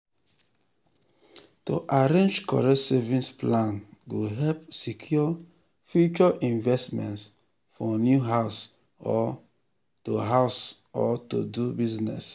to arrange correct savings plan go help secure future investments for new house or to house or to do business.